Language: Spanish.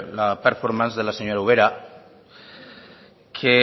la performance de la señora ubera que